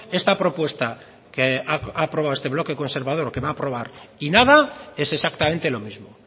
esta propuesta que ha aprobado este bloque conservador o que va a aprobar y nada es exactamente lo mismo